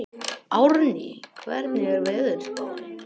Árný, hvernig er veðurspáin?